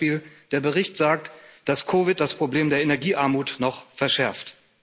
Beispiel Der Bericht sagt, dass Covid-19 das Problem der Energiearmut noch verschärft.